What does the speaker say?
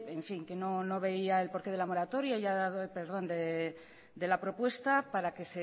que no veía el porqué de la moratoria y ya ha dado el perdón de la propuesta para que